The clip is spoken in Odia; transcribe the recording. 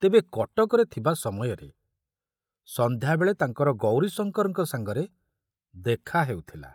ତେବେ କଟକରେ ଥିବା ସମୟରେ ସଂଧ୍ୟାବେଳେ ତାଙ୍କର ଗୌରୀଶଙ୍କରଙ୍କ ସାଙ୍ଗରେ ଦେଖା ହେଉଥିଲା।